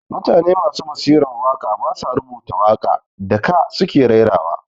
Mutane masu basiran waka ba sa rubuta waka da ka su ke raira wa